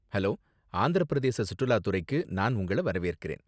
Hello, Andhra Pradesh சுற்றுலாத்துறைக்கு நான் உங்கள வரவேற்கிறேன்.